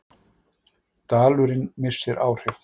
Dalurinn missir áhrif